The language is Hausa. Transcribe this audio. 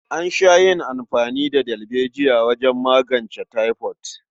An sha yin amfani da dalbejiya wajen magance taifod.